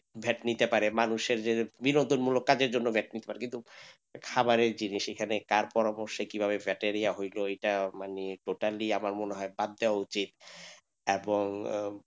vat নিতে পারে মানুষের যে কাজের জন্য vat নিতে পারে কিন্তু খাবারের জিনিস কার পরভরসায় কি ভাবে হইলো এটা মানে totally আমার মনে হয় বাদ দেওয়া উচিত এবং, আহ